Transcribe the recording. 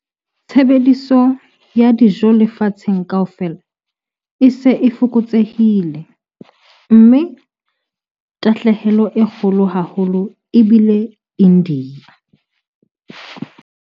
Tshebediso ya dijo lefatsheng kaofela e se e fokotsehile, mme tahlehelo e kgolo haholo e bile India.